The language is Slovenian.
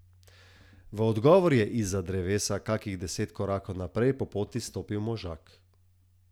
V odgovor je izza drevesa kakih deset korakov naprej po poti stopil možak.